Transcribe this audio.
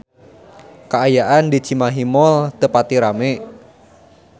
Kaayaan di Cimahi Mall teu pati rame